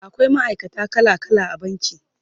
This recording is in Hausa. akwai ma'aikata kala kala a banki